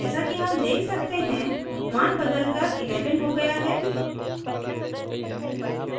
जैसा कि हम देख सकते हैं मान बदलकर 11 हो गया है